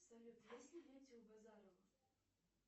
салют есть ли дети у базанова